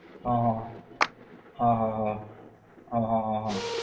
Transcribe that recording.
હ હ હ હ હ હ હ હ